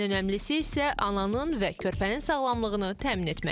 Ən önəmlisi isə ananın və körpənin sağlamlığını təmin etməkdir.